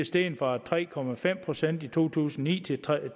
steget fra tre procent i to tusind og ni til